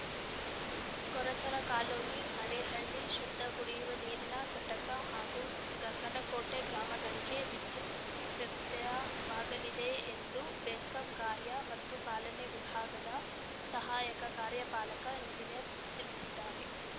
ಕೊರಚರ colony Arehalli ಶುದ್ಧ ಕುಡಿಯುವ ನೀರಿನ ಘಟಕ ಹಾಗೂ ಗಂಗನಕೋಟೆ ಗ್ರಾಮಗಳಿಗೆ ವಿದ್ಯುತ್‌ ವ್ಯತ್ಯಯವಾಗಲಿದೆ ಎಂದು ಬೆಸ್ಕಾಂ ಕಾರ್ಯ ಮತ್ತು ಪಾಲನೆ ವಿಭಾಗದ ಸಹಾಯಕ ಕಾರ್ಯಪಾಲಕ ಎಂಜಿನಿಯರ್‌ ತಿಳಿಸಿದ್ದಾರೆ